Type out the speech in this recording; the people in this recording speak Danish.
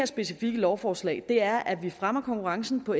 specifikke lovforslag er at vi fremmer konkurrencen på